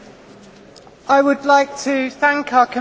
I would like to thank our Commissioners.